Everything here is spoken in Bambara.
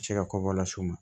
Se ka kɔbɔ las'u ma